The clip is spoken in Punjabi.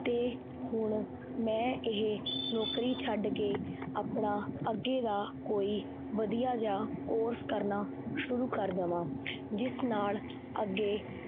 ਤੇ ਹੁਣ ਮੈਂ ਇਹ ਨੌਕਰੀ ਛੱਡ ਕੇ ਆਪਣਾ ਅੱਗੇ ਦਾ ਕੋਈ ਵਧੀਆ ਜਿਹਾ course ਕਰਨਾ ਸ਼ੁਰੂ ਕਰ ਦੇਵਾਂ, ਜਿਸ ਨਾਲ ਅੱਗੇ